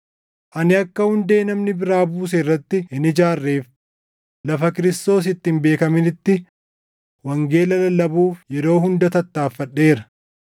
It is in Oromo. Ani akka hundee namni biraa buuse irratti hin ijaarreef lafa Kiristoos itti hin beekaminitti wangeela lallabuuf yeroo hunda tattaaffadheera.